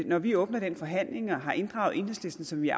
når vi åbner den forhandling og har inddraget enhedslisten som vi